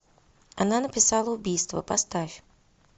она написала убийство поставь